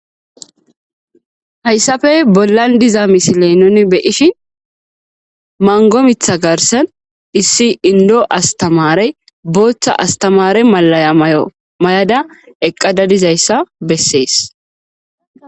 Hayssafe bollan diza misiley nuni beyishin mango mitha garsen issi indo astamare booththa astamare malaya mayomay,ada .eqqada dizayssa bessees